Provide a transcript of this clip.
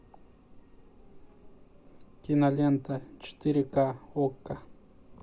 кинолента четыре ка окко